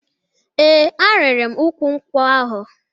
Ee, arịrị m ukwu nkwụ ahụ